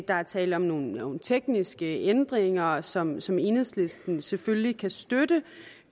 der er tale om nogle tekniske ændringer som som enhedslisten selvfølgelig kan støtte